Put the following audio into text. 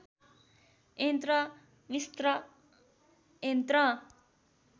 यन्त्र मिस्र यन्त्र